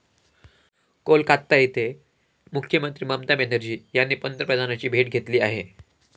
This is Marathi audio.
कोलकाता येथे मुख्यमंत्री ममता बॅनर्जी यांनी पंतप्रधानांची भेट घेतली आहे.